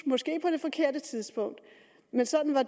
måske på det forkerte tidspunkt men sådan er